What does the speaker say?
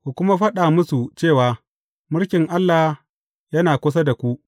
Ku kuma faɗa musu cewa, Mulkin Allah yana kusa da ku.’